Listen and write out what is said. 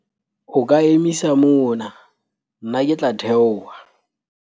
o ka emisa mona nna ke tla theoha